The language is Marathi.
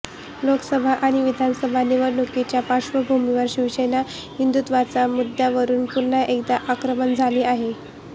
लोकसभा आणि विधानसभा निवडणुकीच्या पार्श्वभूमीवर शिवसेना हिंदुत्वाच्या मुद्यावरुन पुन्हा एकदा आक्रमक झाली आहे